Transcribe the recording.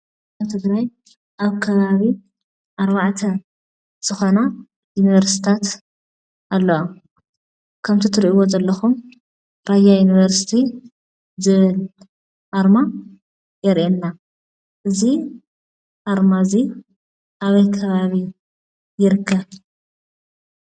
ኣብ ትግራይ ኣከባቢ ኣርባዕተ ዝኾና ዩኒቨርስታት ኣለዋ፡፡ ከምትሪእዎ ዘለኹም ራያ ዩኒቨርስቲ ዝብል ኣርማ የርኤና፡፡ እዚ ኣርማ እዚ ኣበይ ከባቢ ይርከብ?